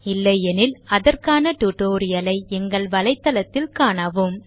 இல்லையெனில் அதற்கான tutorial ஐ எங்கள் வளைத்தளத்தில் காணவும்